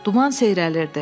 Duman seyrəlirdi.